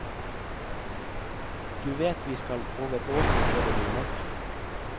Du veit vi skal over åsen før det blir mørkt.